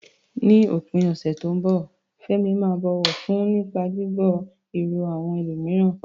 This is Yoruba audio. Ní òpin ọ̀sẹ̀ tó ń bọ̀, Fẹ́mi máa bọ̀wọ̀ fún nípa gbígbọ́ èrò àwọn ẹlòmíràn.